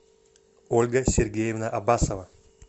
ольга сергеевна абасова